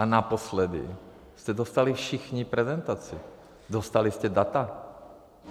A naposledy jste dostali všichni prezentaci, dostali jste data.